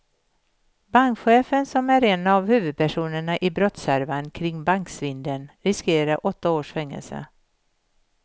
Bankchefen, som är en av huvudpersonerna i brottshärvan kring banksvindeln, riskerar åtta års fängelse.